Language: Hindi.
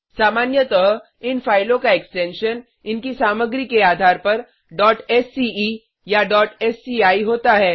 सामान्यतः इन फाइलों का एक्सटेंशन इनकी सामग्री के आधार पर sce या sci होता है